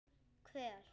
Hver?